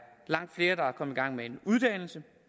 langt flere der er kommet i gang med en uddannelse